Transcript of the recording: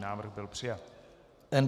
Návrh byl přijat.